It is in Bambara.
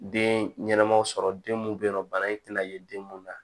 Den ɲɛnɛmaw sɔrɔ den mun be yen nɔ bana in tɛna ye den mun na